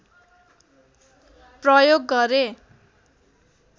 प्रयोग गरे